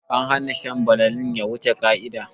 An hana shan banalin ya wuce ƙa'ida